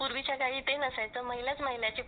पूर्वी चा काली ते नसायचं , महिला महिलांचे